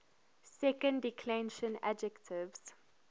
second declension adjectives